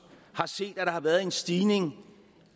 har set at der har været en stigning